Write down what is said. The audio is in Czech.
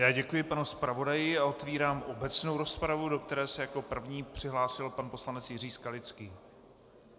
Já děkuji panu zpravodaji a otevírám obecnou rozpravu, do které se jako první přihlásil pan poslanec Jiří Skalický.